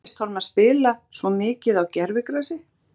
En hvernig finnst honum að spila svo mikið á gervigrasi?